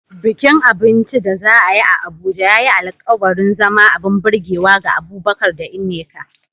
Bikin abinci da za a yi a Abuja ya yi alkawarin zama abin burgewa ga Abubakar da Nneka.